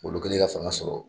Ngolo kɛlen ka fanga sɔrɔ